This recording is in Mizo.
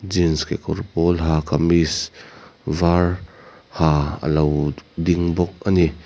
jeans kekawr pawl ha kamees var ha alo ding bawk ani.